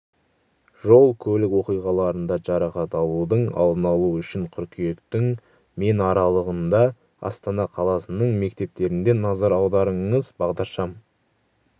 жол-көлік оқиғаларында жарақат алудың алдын алу үшін қыркүйектің мен аралығында астана қаласының мектептерінде назар аударыңыз бағдаршам